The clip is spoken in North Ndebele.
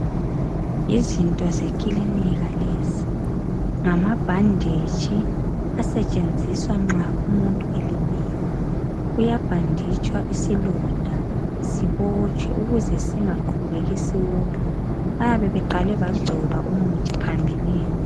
Izinto zekilinika lezi, ngamabhanditshi asetshenziswa nxa umuntu elimele. Uyabhanditshwa isilonda sibotshwe ukuze singaqhubeki siwopha. Bayabe beqale bayabe beqale bagcoba umuthi phambilini.